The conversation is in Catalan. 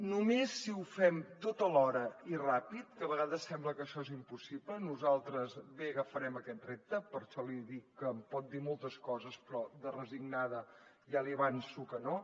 només si ho fem tot alhora i ràpid que a vegades sembla que això és impossible nosaltres bé que agafarem aquest repte per això li dic que em pot dir moltes coses però resignada ja li avanço que no